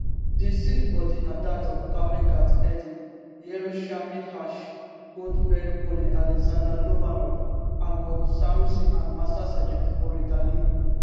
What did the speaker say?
di six bodis na dat of carmel gat eden yerushalmi hersh goldbergpolin alexander lobanov almog sarusi and master sgt ori danino